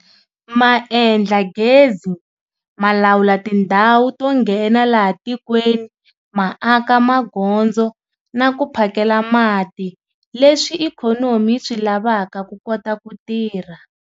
Ma endla gezi, ma lawula tindhawu to nghena laha tikweni, ma aka magondzo na ku phakela mati leswi ikhonomi yi swi lavaka ku kota ku tirha.